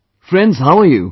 Friends, how are you